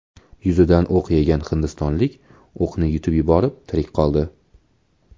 Yuzidan o‘q yegan hindistonlik o‘qni yutib yuborib tirik qoldi.